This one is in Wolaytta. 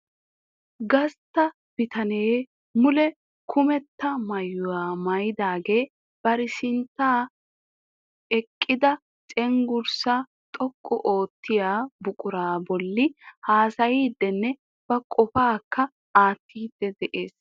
Gastta bitanee mule kummetta maayyuwaa maayyidaagee bari sinttam eqqida cenggurssa xoqqu oottiyaa buquraa bolli haasayddinne ba qopakka aattidi de'ees .